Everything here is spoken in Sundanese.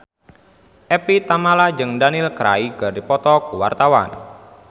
Evie Tamala jeung Daniel Craig keur dipoto ku wartawan